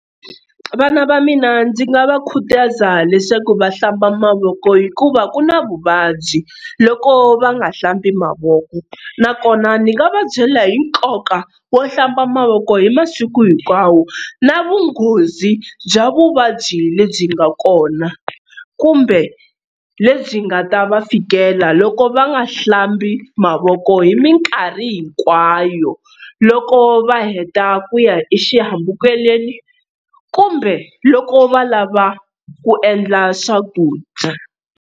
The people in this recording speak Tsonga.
Vana va mina ndzi nga va khutaza leswaku va hlamba mavoko hikuva ku na vuvabyi loko va nga hlambi mavoko nakona ni nga va byela hi nkoka wo hlamba mavoko hi masiku hinkwawo na vunghozi bya vuvabyi lebyi nga kona kumbe lebyi nga ta va fikela loko va nga hlambi mavoko hi minkarhi hinkwayo loko va heta ku ya exihambukelweni kumbe loko va lava ku endla swakudya.